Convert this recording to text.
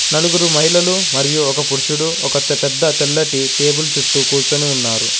నలుగురు మహిళలు మరియు ఒక పురుషుడు ఒక తెపెద్ద తెల్లటి టేబుల్ చుట్టూ కూర్చొని ఉన్నారు.